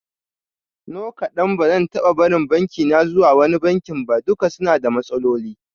No kadan, bazan taba barin bankina zuwa wani banki ba, duka suna da matsaloli